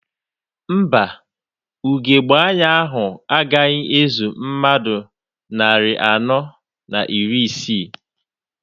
Mba, ugebe anya ahụ agaghị ezu mmadụ narị anọ na iri isii.